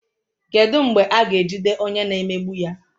Kedu mgbe a ga-ejide onye na-emegbu ya?